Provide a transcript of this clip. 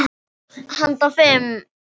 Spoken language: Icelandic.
Handa fimm